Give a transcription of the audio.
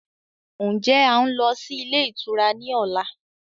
Ń jẹ́ a ń lọ sí ilé ìtura ni ọ̀la?